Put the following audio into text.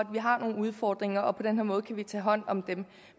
vi har nogle udfordringer og på den her måde kan vi tage hånd om dem